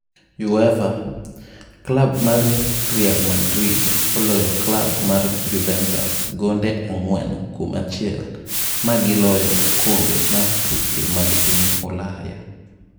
UEFA: klab mar Real Madrid oloyo klab mar Juventus gonde 4-1 ma giloyo okombe mar tuke mag piny Ulaya